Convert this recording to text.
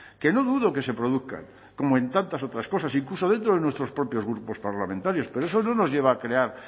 que no dudo que se produzcan como en tantas otras cosas incluso dentro de nuestros propios grupos parlamentarios pero eso no nos lleva a crear